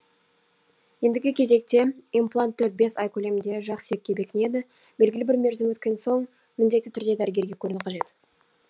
ендігі кезекте имплант төрт бес ай көлемінде жақ сүйекке бекінеді белгілі бір мерзім өткен соң міндетті түрде дәрігерге көріну қажет